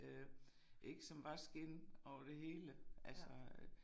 Øh ik som var skind og det hele altså øh